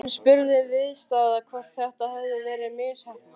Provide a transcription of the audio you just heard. Bóndinn spurði viðstadda hvort þetta hefði verið misheppnað.